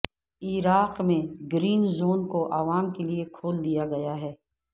عراق میں green zone کو عوام کے لیے کھول دیا گیا ہے